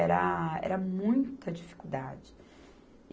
Era, era muita dificuldade.